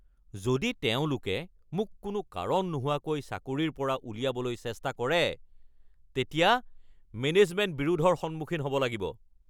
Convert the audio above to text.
যদি তেওঁলোকে মোক কোনো কাৰণ নোহোৱাকৈ চাকৰিৰ পৰা উলিয়াবলৈ চেষ্টা কৰে তেতিয়া মেনেজমেন্ট বিৰোধৰ সন্মুখীন হ'ব লাগিব।